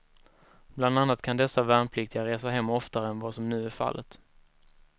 Bland annat kan dessa värnpliktiga resa hem oftare än vad som nu är fallet.